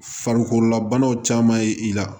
Farikololabanaw caman ye i la